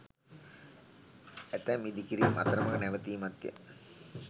ඇතැම් ඉඳිකිරීම් අතරමග නැවතීමත්ය.